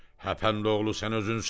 Həpəndoğlu sən özünsən.